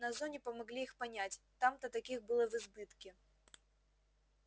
на зоне помогли их понять там-то таких было в избытке